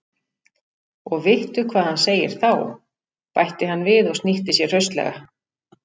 Og vittu hvað hann segir þá! bætti hann við og snýtti sér hraustlega.